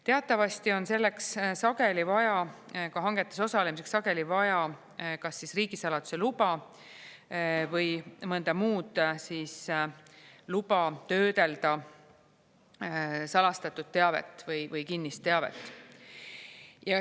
Teatavasti on hangetes osalemiseks sageli vaja kas siis riigisaladuse luba või mõnda muud luba töödelda salastatud teavet või kinnist teavet.